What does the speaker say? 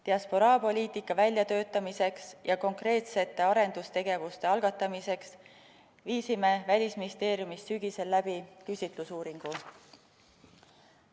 Diasporaapoliitika väljatöötamiseks ja konkreetsete arendustegevuste algatamiseks tegime Välisministeeriumis sügisel küsitlusuuringu.